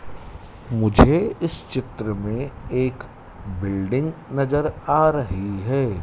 मुझे इस चित्र में एक बिल्डिंग नजर आ रही है।